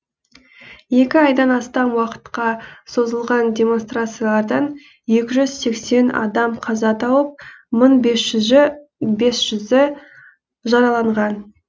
екі айдан астам уақытқа созылған демонстрациялардан екі жүз сексен адам қаза тауып мың бес жүзі жараланған